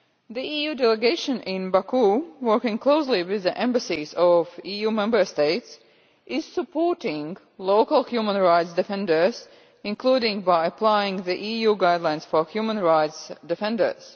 The EU delegation in Baku, working closely with the embassies of EU Member States, is supporting local human rights defenders, including by applying the EU Guidelines on Human Rights Defenders.